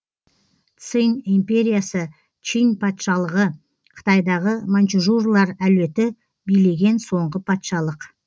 цинь империясы чинь патшалығы қытайдағы маньчжурлар әулеті билеген соңғы патшалық